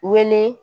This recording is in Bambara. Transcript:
Wele